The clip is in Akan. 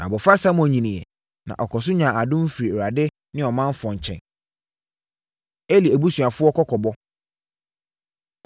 Na abɔfra Samuel nyiniiɛ, na ɔkɔɔ so nyaa adom firii Awurade ne ɔmanfoɔ nkyɛn. Eli Abusuafoɔ Kɔkɔbɔ